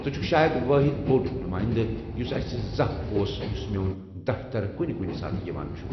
ژٕ چھُِكھ شاید وٲحد بوٚڈ نُمٲیندٕ یُس اسہِ زانٛہہ اوس، یُس میون دفتَر کُنہِ کُنہِ ساتہٕ یِوان چھُ ۔